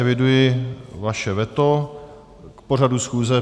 Eviduji vaše veto k pořadu schůze.